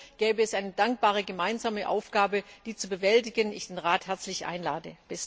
Auch hier gäbe es eine dankbare gemeinsame Aufgabe, die zu bewältigen ich den Rat herzlich einlade.